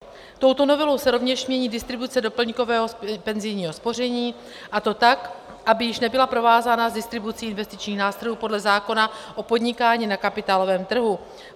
Touto novelou se rovněž mění distribuce doplňkového penzijního spoření, a to tak, aby již nebyla provázána s distribucí investičních nástrojů podle zákona o podnikání na kapitálovém trhu.